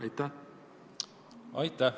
Aitäh!